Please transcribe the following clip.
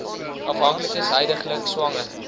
afhanklikes huidiglik swanger